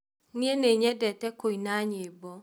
Nĩĩ nĩnyendete kũina nyĩmbo